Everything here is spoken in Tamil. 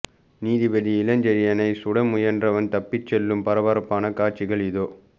நீதிபதி இளஞ்செழியனைச் சுட முயன்றவன் தப்பிச் செல்லும் பரபரப்பான காட்சிகள் இதோ